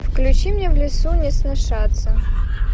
включи мне в лесу не сношаться